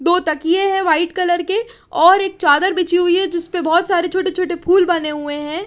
दो तकिये है वाइट कलर के और एक चादर बिची हुई है जिसपे बोहोत सारे छोटे छोटे फूल बने हुए है।